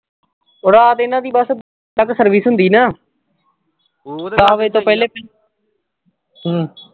ਓਹ ਰਾਤ ਦਿਨ ਦੀ ਬਸ ਤੱਕ service ਹੁੰਦੀ ਨਾ। ਦਹ ਵਜੇ ਤੋਂ ਪਹਿਲੇ। ਹਮ